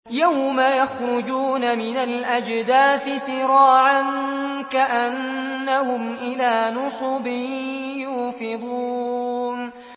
يَوْمَ يَخْرُجُونَ مِنَ الْأَجْدَاثِ سِرَاعًا كَأَنَّهُمْ إِلَىٰ نُصُبٍ يُوفِضُونَ